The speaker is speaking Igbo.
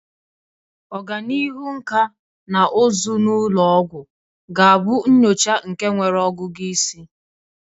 Ọganihu nkà na ụzụ na ụlọ ọgwụ ga-abụ nyocha nke nwere ọgụgụ isi.